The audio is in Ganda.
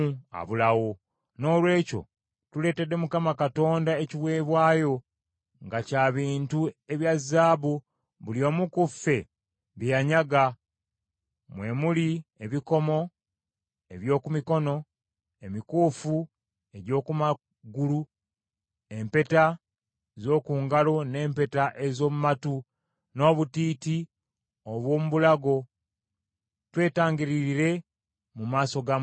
Noolwekyo tuleetedde Mukama Katonda ekiweebwayo nga kya bintu ebya zaabu buli omu ku ffe bye yanyaga; mwe muli ebikomo eby’oku mikono, emikuufu egy’oku magulu, empeta z’oku ngalo n’empeta ez’omu matu n’obutiiti obw’omu bulago, twetangiririre mu maaso ga Mukama Katonda.”